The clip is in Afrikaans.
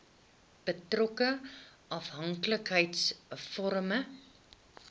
betrokke afhanklikheids vormende